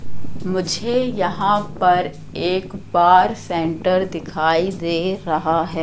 मुझे यहां पर एक बार सेंटर दिखाई दे रहा है।